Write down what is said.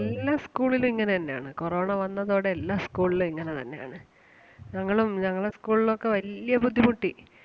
എല്ലാ school ലും ഇങ്ങനെ തന്നെ ആണ് corona വന്നതോടെ എല്ലാ school ലും ഇങ്ങനെ തന്നെ ആണ്. ഞങ്ങളും ഞങ്ങൾടെ school ലൊക്കെ വല്ല്യ ബുദ്ധിമുട്ടി